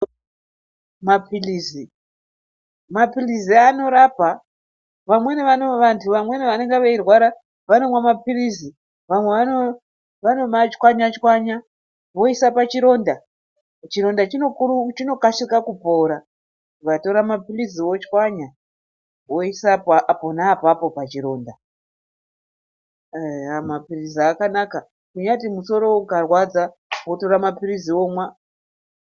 Mapilizi anorapa. Vamweni vantu vanenge veirwara vanomwa mapilizi, vamwe vanomatswanya tswanya voisa pachionda. Chironda chinokasika kupora, ukatora mapilizi wotswanya woisa apapo pachironda. Eya mapilizi akanaka kunyati musoro ukarwadzwa wotora womwa.